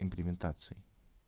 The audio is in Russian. имплементации